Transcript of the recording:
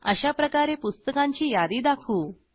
अशाप्रकारे पुस्तकांची यादी दाखवू